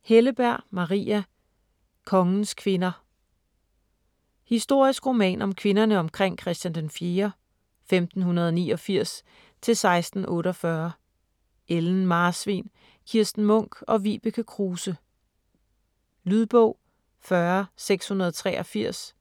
Helleberg, Maria: Kongens kvinder Historisk roman om kvinderne omkring Christian den 4. (1589-1648): Ellen Marsvin, Kirsten Munk og Vibeke Kruse. Lydbog 40683